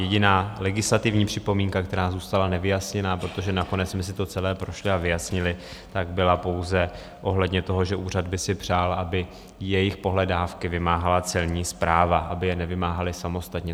Jediná legislativní připomínka, která zůstala nevyjasněná - protože nakonec jsme si to celé prošli a vyjasnili - tak byla pouze ohledně toho, že úřad by si přál, aby jejich pohledávky vymáhala Celní správa, aby je nevymáhali samostatně.